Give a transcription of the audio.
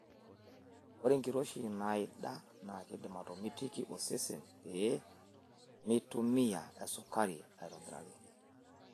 Ore enkiroshi naida na keidim atomitiki osesen pee meitumiya esukari aitobiraki.